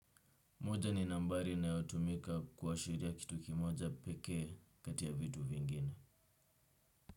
Moja ni nambari inayo tumika kuashiria kitu kimoja pekee kati ya vitu vingine.